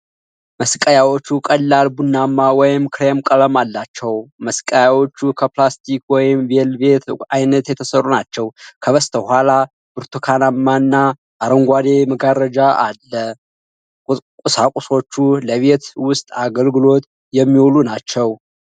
መስቀያዎቹ ቀላል ቡናማ ወይም ክሬም ቀለም አላቸው። መስቀያዎቹም ከፕላስቲክ ወይም ቬልቬት ዓይነት የተሰሩ ናቸው። ከበስተኋላ ብርቱካናማ እና አረንጓዴ መጋረጃ አለ። ቁሳቁሶቹ ለቤት ውስጥ አገልግሎት የሚውሉ ናቸው።